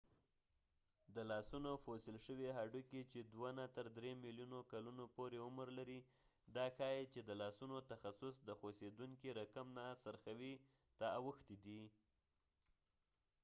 د لاسونو فوسیل شوي هډوکې چې دوه نه تر درې ملیونو کلونو پورې عمر لري دا ښایې چې د لاسونو تخصص د خوڅیدونکې رقم نه څرخوي ته اوښتی دي